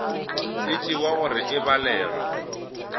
e tšewa gore e balega